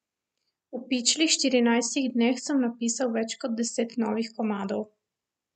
V pičlih štirinajstih dneh sem napisal več kot deset novih komadov.